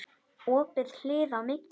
Opið hlið á milli.